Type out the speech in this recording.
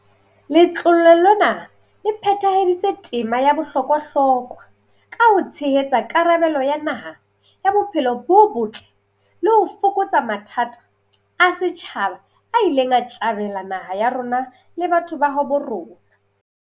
Letlole lena le phethahaditse tema ya bohlokwahlokwa ka ho tshehetsa karabelo ya naha ya bophelo bo botle le ho fokotsa mathata a setjhaba a ileng a tjamela naha ya rona le batho ba habo rona.